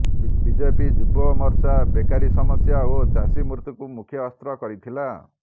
BJP ଯୁବମୋର୍ଚ୍ଚା ବେକାରୀ ସମସ୍ୟା ଓ ଚାଷୀ ମୃତ୍ୟୁକୁ ମୁଖ୍ୟଅସ୍ତ୍ର କରିଥିଲା